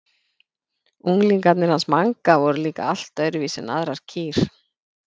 Unglingarnir hans Manga voru líka allt öðruvísi en aðrar kýr.